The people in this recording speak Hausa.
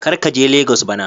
Kar ka je Legos bana.